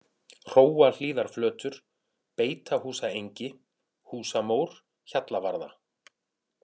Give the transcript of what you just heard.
Hróahlíðarflötur, Beitahúsaengi, Húsamór, Hjallavarða